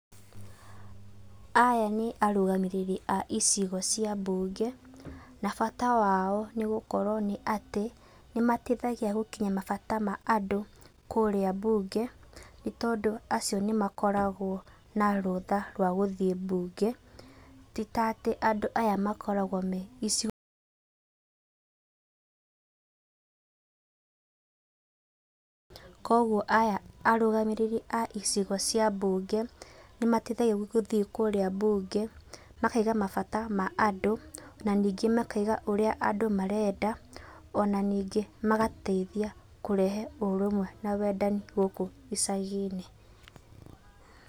Aya nĩ arũgamĩriri a icigo cia mbunge, na bata wao nĩgũkorwo nĩ atĩ nĩmateithagia gũkinyia mabata ma andũ kũrĩa mbunge, nĩtondũ acio nĩmakoragwo na rũtha rwa gũthiĩ mbunge, ti tatĩ andũ aya makoragwo me icigo, ,kuoguo aya arũgamĩrĩri a icigo cia mbunge nĩmateithagia gũthiĩ kũrĩa mbunge makauga mabata ma andũ, na ningĩ makauga ũrĩa andũ marenda, ona ningĩ magateithia kũrehe ũrũmwe na wendani gũkũ icagi-inĩ.